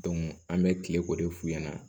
an bɛ kile ko de f'u ɲɛna